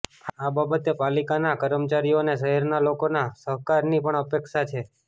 આ બાબતે પાલિકાનાં કર્મચારીઓને શહેરના લોકોના સહકારની પણ અપેક્ષા છે